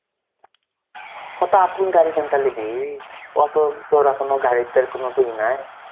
তো এখন গাড়ি কিনতে লিবি কত~ তোর এখনো গাড়ির তো কোনো ইয়ে নাই.